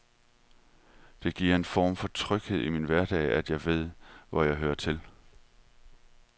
Det giver en form for tryghed i min hverdag, at jeg ved, hvor jeg hører til.